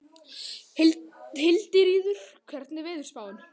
Hildiríður, hvernig er veðurspáin?